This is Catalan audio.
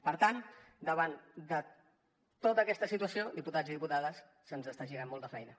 per tant davant de tota aquesta situació diputats i diputades se’ns està girant molt la feina